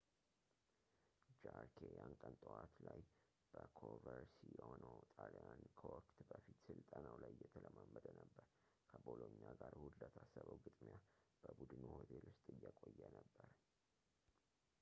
ጃርኬ ያን ቀን ጠዋት ላይ በኮቨርሲአኖ ጣልያን ከወቅት-በፊት ስልጠናው ላይ እየተለማመደ ነበር ከቦሎኛ ጋር እሁድ ለታሰበው ግጥሚያ በቡድኑ ሆቴል ውስጥ እየቆየ ነበር